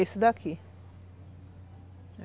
Esse daqui.